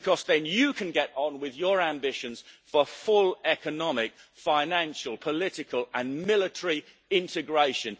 Because then you can get on with your ambitions for full economic, financial, political and military integration.